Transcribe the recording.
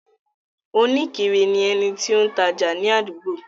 Oníkiri ni ẹni tí ó ń tajà ni àdúgbò.